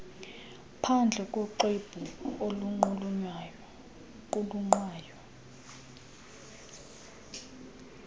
phandle ngoxwebhu oluqulunqwayo